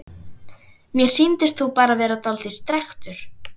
Mér sýndist þú bara vera dáldið strekktur.